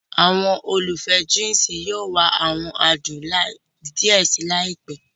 Àwọn olùfẹ́ oje yóò wá awọn adùn díẹ̀ síi laipe